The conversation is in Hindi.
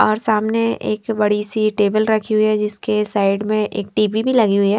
और सामने एक बड़ी-सी टेबल रखी हुई है जिसके साइड में एक टी_वी भी लगी हुई है।